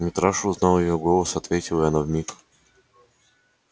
митраша узнал её голос ответил и она вмиг